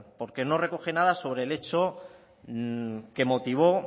porque no recoge nada sobre el hecho que motivó